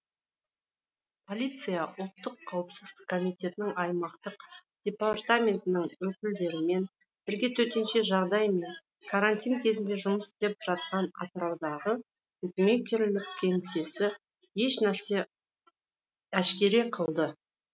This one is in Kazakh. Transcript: полиция ұлттық қауіпсіздік комитетінің аймақтық департаментінің өкілдерімен бірге төтенше жағдай мен карантин кезінде жұмыс істеп жатқан атыраудағы букмекерлік кеңсені әшкере қылды